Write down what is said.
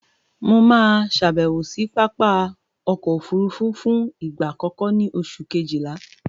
Mo máa ṣàbèwò sí Pápá ọkọ̀ òfurufú fún ìgbà àkọ́kọ́ ní oṣù kejìlá